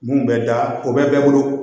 Mun bɛ da o bɛ bɛɛ bolo